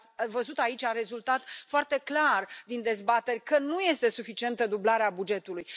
Dar ați văzut, aici a rezultat foarte clar din dezbateri, că nu este suficientă dublarea bugetului.